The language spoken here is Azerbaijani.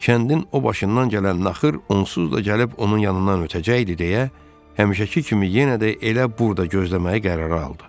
Kəndin o başından gələn naxır onsuz da gəlib onun yanından ötəcəkdi deyə həmişəki kimi yenə də elə burda gözləməyə qərara aldı.